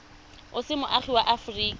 o se moagi wa aforika